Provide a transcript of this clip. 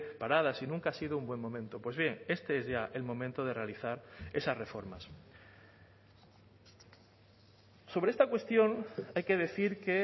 paradas y nunca ha sido un buen momento pues bien este es ya el momento de realizar esas reformas sobre esta cuestión hay que decir que